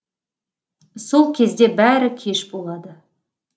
сол кезде бәрі кеш болады